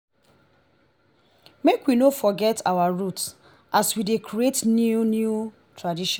make we no forget our root as we dey create new new tradition.